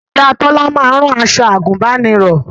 Ìyá Tọ́lá máa ń rán aṣọ àgùnbánirọ̀